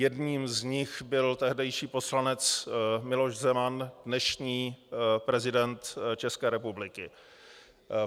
Jedním z nich byl tehdejší poslanec Miloš Zeman, dnešní prezident České republiky.